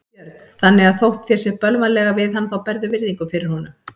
Björn: Þannig að þótt þér sé bölvanlega við hann þá berðu virðingu fyrir honum?